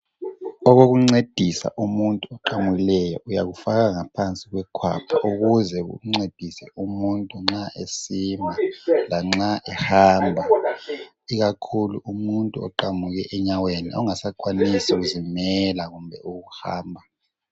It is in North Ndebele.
Okokuncedisa umuntu oqamukileyo uyakufaka ngephansi kwekhwapha ukuze kumncedise umuntu nxa esima lanxa ehamba ikakhulu umuntu oqamuke enyaweni ongasakwanisi kuzimela kumbe ukuhamba.